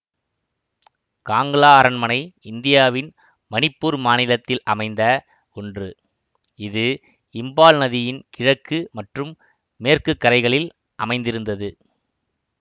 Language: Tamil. காங்லா அரண்மனை இந்தியாவின் மணிப்பூர் மாநிலத்தில் அமைந்த ஒன்று இது இம்பால் நதியின் கிழக்கு மற்றும் மேற்கு கரைகளில் அமைந்திருந்தது